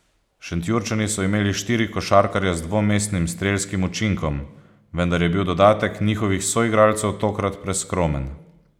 Šentjurčani so imeli štiri košarkarje z dvomestnim strelskim učinkom, vendar je bil dodatek njihovih soigralcev tokrat preskromen.